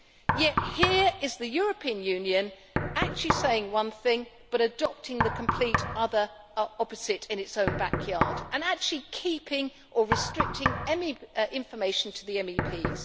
Yet here is the European Union saying one thing but adopting the complete opposite in its own backyard, and actually keeping or restricting any information to MEPs.